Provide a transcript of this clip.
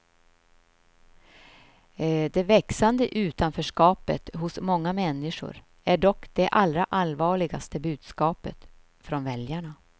Det växande utanförskapet hos många människor är dock det allra allvarligaste budskapet från väljarna.